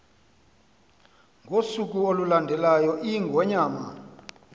ngosuku olulandelayo iingonyama